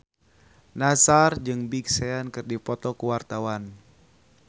Nassar jeung Big Sean keur dipoto ku wartawan